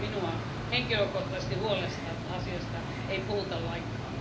Minua henkilökohtaisesti huolestuttaa, että asiasta ei puhuta lainkaan.